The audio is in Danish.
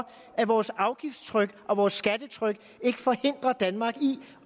at vores afgiftstryk og vores skattetryk ikke forhindrer danmark i